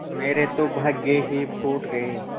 मेरे तो भाग्य ही फूट गये